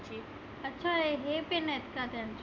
अच्छा हे pin आहेत का त्यांचे.